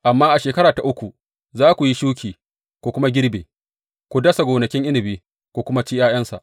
Amma a shekara ta uku, za ku yi shuki, ku kuma girbe, ku dasa gonakin inabi, ku kuma ci ’ya’yansa.